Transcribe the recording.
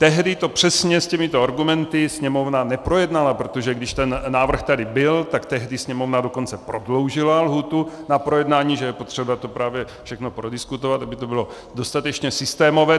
Tehdy to přesně s těmito argumenty Sněmovna neprojednala, protože když ten návrh tady byl, tak tehdy Sněmovna dokonce prodloužila lhůtu na projednání, že je potřeba to právě všechno prodiskutovat, aby to bylo dostatečně systémové.